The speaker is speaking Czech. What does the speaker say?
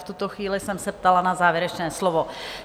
V tuto chvíli jsem se ptala na závěrečné slovo.